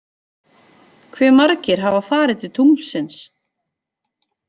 Hve margir hafa farið til tunglsins?